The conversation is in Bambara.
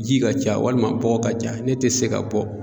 Ji ka ca walima bɔgɔ ka ca ne tɛ se ka bɔ.